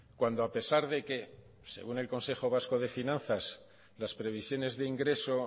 cuando a pesar de que según el consejo vasco de finanzas las previsiones de ingreso